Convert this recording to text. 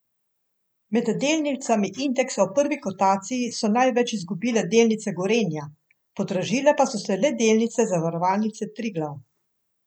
Med delnicami indeksa v prvi kotaciji so največ izgubile delnice Gorenja, podražile pa so se le delnice Zavarovalnice Triglav.